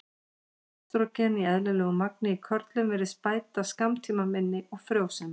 Estrógen í eðlilegu magni í körlum virðist bæta skammtímaminni og frjósemi.